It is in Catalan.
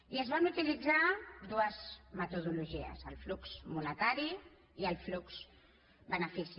i es van utilitzar dues metodologies el flux monetari i el flux benefici